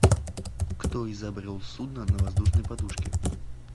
кто изобрел судно на воздушной подушке